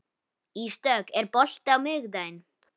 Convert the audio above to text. Ísdögg, er bolti á miðvikudaginn?